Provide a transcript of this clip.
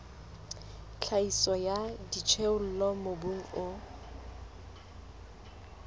tlhahiso ya dijothollo mobung o